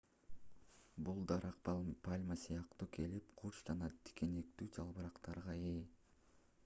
бул дарак пальма сыяктуу келип курч жана тикенектүү жалбырактарга ээ